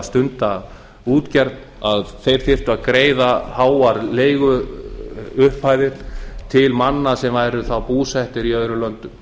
stunda útgerð þyrftu að greiða háar leiguupphæðir til manna sem væru þá búsettir í öðrum löndum